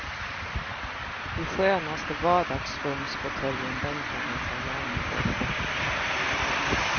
I skönaste vardagsrumsfåtöljen bänkar han sig gärna och ofta.